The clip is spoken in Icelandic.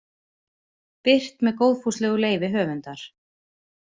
Birt með góðfúslegu leyfi höfundar.